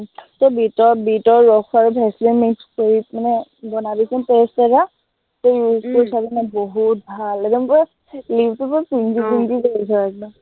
তই বিটৰ, বিটৰ ৰস আৰু ভেচলিন mix কৰি কেনে বনাবিচোন paste এটা, তই use চাবিচোন বহুত ভাল, একদম পূৰা lip টো পূৰা pink pink হৈ যায় একদম।